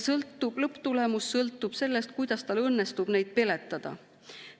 Lõpptulemus sõltub sellest, kuidas tal õnnestub neid peletada.